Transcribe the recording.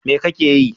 Me kake yi?